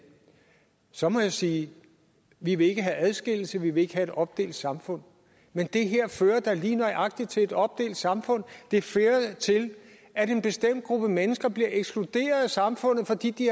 så må jeg sige vi vil ikke have adskillelse vi vil ikke have et opdelt samfund men det her fører da lige nøjagtig til et opdelt samfund det fører til at en bestemt gruppe mennesker bliver ekskluderet af samfundet fordi de